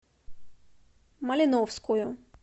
малиновскую